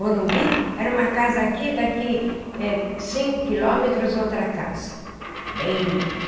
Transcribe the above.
Morumbi era uma casa aqui, daqui eh cinco quilômetros, outra casa era bem.